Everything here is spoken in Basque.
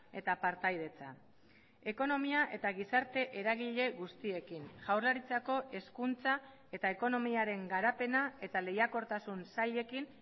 eta partaidetza ekonomia eta gizarte eragile guztiekin jaurlaritzako hezkuntza eta ekonomiaren garapena eta lehiakortasun sailekin